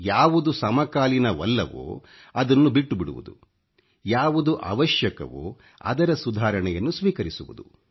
ಯಾವುದು ಸಮಕಾಲೀನವಲ್ಲವೋ ಅದನ್ನು ಬಿಟ್ಟು ಬಿಡುವುದು ಯಾವುದು ಅವಶ್ಯಕವೋ ಅದರ ಸುಧಾರಣೆಯನ್ನು ಸ್ವೀಕರಿಸುವುದು